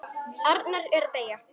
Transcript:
Arnar er að deyja.